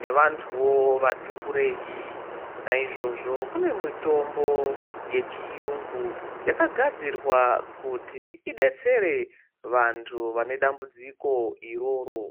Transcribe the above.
nevantuwo vati kurei. Naizvozvo kune mitombo yechiyungu yakagadzirwa kuti idetsere vantu vane dambudziko iroro.